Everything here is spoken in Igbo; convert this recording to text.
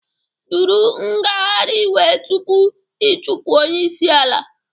Duru ngagharị iwe tupu ị chụpụ onye isi ala